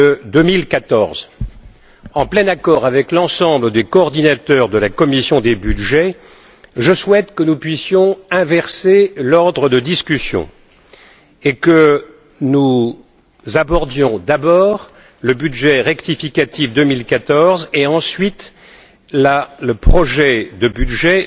de 2014. En plein accord avec l'ensemble des coordinateurs de la commission des budgets, je souhaite que nous puissions inverser l'ordre des discussions et que nous abordions d'abord le budget rectificatif 2014 et ensuite le projet de budget